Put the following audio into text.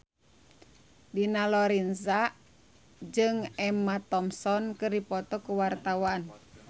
Dina Lorenza jeung Emma Thompson keur dipoto ku wartawan